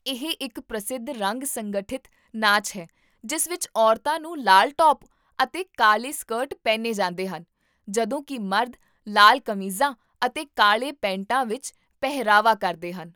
ਇਹ ਇੱਕ ਪ੍ਰਸਿੱਧ ਰੰਗ ਸੰਗਠਿਤ ਨਾਚ ਹੈ ਜਿਸ ਵਿੱਚ ਔਰਤਾਂ ਨੂੰ ਲਾਲ ਟੌਪ ਅਤੇ ਕਾਲੇ ਸਕਰਟ ਪਹਿਨੇ ਜਾਂਦੇ ਹਨ, ਜਦੋਂ ਕਿ ਮਰਦ ਲਾਲ ਕਮੀਜ਼ਾਂ ਅਤੇ ਕਾਲੇ ਪੈਂਟਾਂ ਵਿੱਚ ਪਹਿਰਾਵਾ ਕਰਦੇ ਹਨ